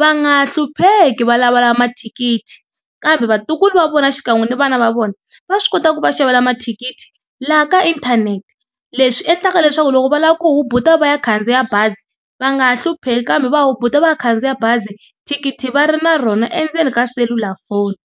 va nga hlupheki va lavalava mathikithi kambe vatukulu va vona xikan'we na vana va vona va swi kota ku va xavela ma thikithi laha ka inthanete leswi endlaka leswaku loko va lava ku hubuta va ya khandziya bazi va nga ha hlupheki kambe va hubuta va ya khandziya bazi thikithi va ri na rona endzeni ka selulafoni.